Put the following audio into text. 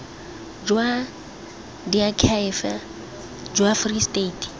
jwa diakhaefe jwa free state